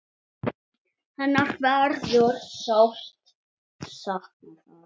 Hennar verður sárt saknað þar.